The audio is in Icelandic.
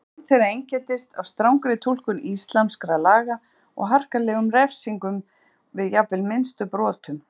Stjórn þeirra einkenndist af strangri túlkun íslamskra laga og harkalegum refsingum við jafnvel minnstu brotum.